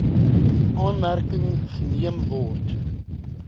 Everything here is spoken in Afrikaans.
aanmerking geneem word